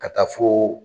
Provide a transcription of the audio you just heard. Ka taa fo